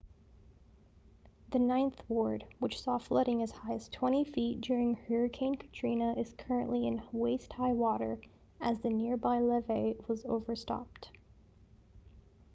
the ninth ward which saw flooding as high as 20 feet during hurricane katrina is currently in waist-high water as the nearby levee was overtopped